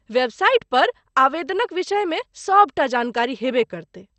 Website पर आवेदनक विषयमे सभ टा जानकारी हेबे करतै।